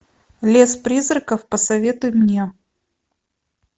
лес призраков посоветуй мне